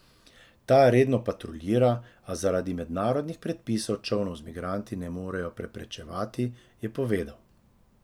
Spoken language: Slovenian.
Ta redno patruljira, a zaradi mednarodnih predpisov čolnov z migranti ne morejo preprečevati, je povedal.